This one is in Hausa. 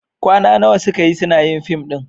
Kwana nawa suka yi suna yin fim ɗin?